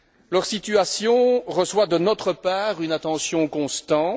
Leur situation reçoit de notre part une attention constante.